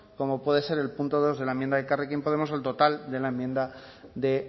como puede ser el punto dos de la enmienda de elkarrekin podemos o el total de la enmienda de